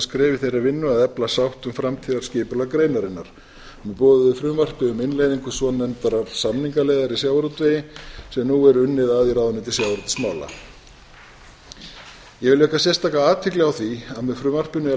skref í þeirri vinnu að efla sátt um framtíðarskipulag greinarinnar með boðuðu frumvarpi um innleiðingu svonefndrar samningaleiðar í sjávarútvegi sem nú er unnið að í ráðuneyti sjávarútvegsmála ég vil vekja sérstaka athygli á því að með frumvarpinu er